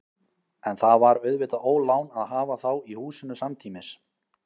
En það var auðvitað ólán að hafa þá í húsinu samtímis.